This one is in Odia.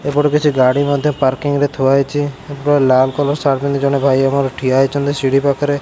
ଏପଟେ କିଛି ଗାଡି ମଧ୍ଯ ପାର୍କିଂ ରେ ହୋଇଛି ଏପଟେ ଲାଲ କଲର ସାର୍ଟ ପିନ୍ଧି ଜଣେ ଭାଇ ଆମର ଠିଆ ହୋଇଛନ୍ତି ସିଢି ପାଖରେ।